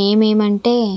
name um అంటే --